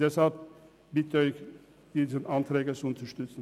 Deshalb bitte ich Sie, diese Anträge zu unterstützen.